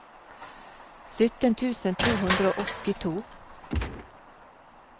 sytten tusen to hundre og åttito